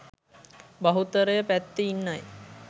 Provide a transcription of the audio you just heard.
බහුතරය පැත්තේ ඉන්නයි